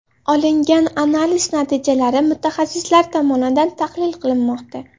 Olingan analiz natijalari mutaxassislar tomonidan tahlil qilinmoqda.